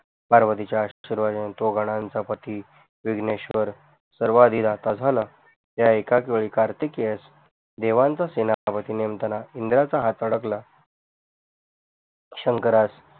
पार्वतीची आशीर्वादाने तो गनानचा पती विघनएशवर सारवादीदाता झाला या एकचवेदि कारतीकेस देवांचा सेनापति नेमताना इंद्रा च हात अडकला शंकरास